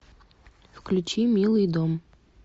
включи милый дом